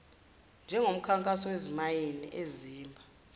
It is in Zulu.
njengomkhankaso wezimayini ezimba